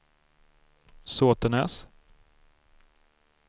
Såtenäs